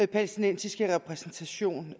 palæstinensiske repræsentation